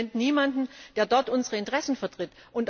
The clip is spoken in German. Es gibt im Moment niemanden, der dort unsere Interessen vertritt.